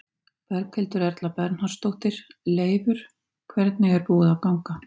Berghildur Erla Bernharðsdóttir: Leifur, hvernig er búið að ganga?